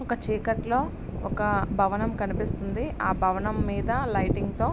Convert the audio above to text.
ఒక చీకటిలో ఒక భవనం కనిపిస్తున్నది ఆ భవనం మీద లైటింగ్ తో --